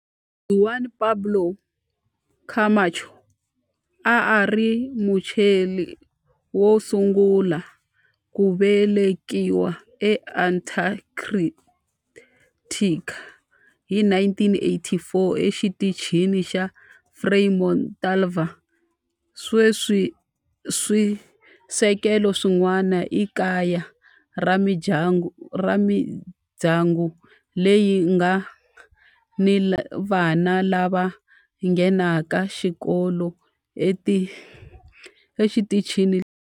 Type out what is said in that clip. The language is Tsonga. Juan Pablo Camacho a a ri Muchile wo sungula ku velekiwa eAntarctica hi 1984 eXitichini xa Frei Montalva. Sweswi swisekelo swin'wana i kaya ra mindyangu leyi nga ni vana lava nghenaka xikolo exitichini lexi.